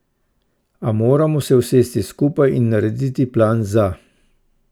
A moramo se usesti skupaj in narediti plan za.